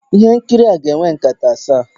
Ihe nkiri a ga-enwe nkata asaa